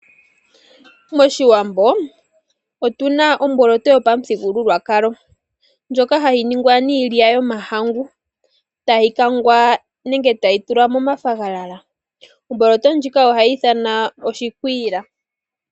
Moshiwambo otu na omboloto yopamuthigululwakalo ndjoka hayi ningwa niilya yomahangu tayi kangwa nenge tayi tulwa momafagalala omboloto ndjika ohayi ithanwa oshikwila.